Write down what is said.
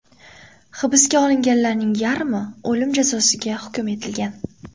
Hibsga olinganlarning yarmi o‘lim jazosiga hukm etilgan.